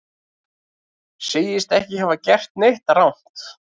Segist ekki hafa gert neitt rangt